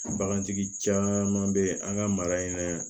Bagantigi caman bɛ yen an ka mara in na